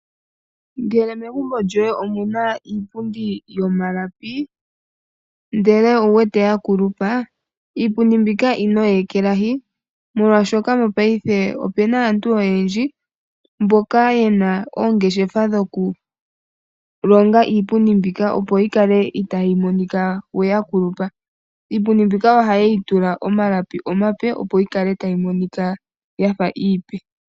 Ngele megumbo lyoye omuna iipundi yomalapi , ndele owuwete yakulupa iipundi mbika ino yi ekelahi , molwaashoka mopaife opuna aantu oyendji mboka yena oongeshefa dhokulonga iipundi mbika opo yikale itaayi monika yakulupa . Iipundi mbika ohayeyi tula omalapi omape opo yikale tayi monika iipe.